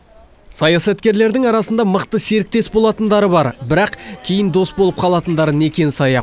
саясаткерлердің арасында мықты серіктес болатындары бар бірақ кейін дос болып қалатындары некен саяқ